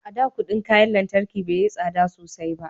a da kudin kayan lantarki bai yi tsada sosai ba